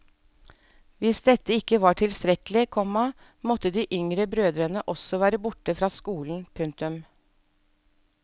Hvis dette ikke var tilstrekkelig, komma måtte de yngre brødrene også være borte fra skolen. punktum